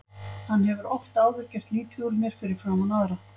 Hann hefur oft áður gert lítið úr mér fyrir framan aðra.